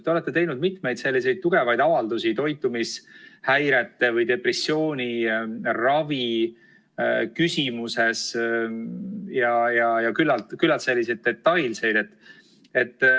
Te olete teinud mitmeid tugevaid avaldusi toitumishäirete ja depressiooni ravi teemal ning need on olnud küllaltki detailsed.